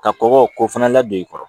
Ka kɔkɔ k'o fana ladon i kɔrɔ